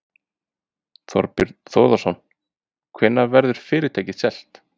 Þorbjörn Þórðarson: Hvenær verður fyrirtækið selt?